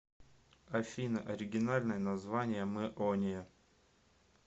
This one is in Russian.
афина оригинальное название мэония